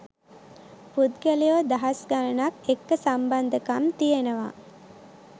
පුද්ගලයො දහස් ගණනක් එක්ක සම්බන්ධකම් තියෙනවා